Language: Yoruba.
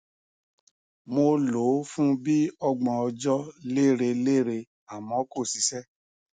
mo lò ó fún bí i ọgbọn ọjọ lérelére àmọ kò ṣiṣẹ